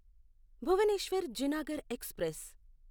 Bhubaneswar Junagarh express